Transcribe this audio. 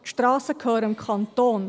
Die Strassen gehören dem Kanton.